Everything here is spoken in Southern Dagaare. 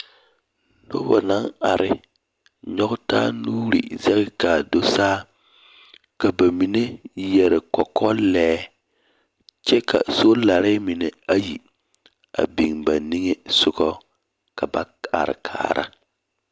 Nobɔ naŋ are nyɔg taa nuuri zɛge kaa do saa. Ka ba mine yɛre kɔkɔlɛɛ, kyɛ ka solare mine ayi a biŋ ba niŋesogɔ, ka ba are kaara.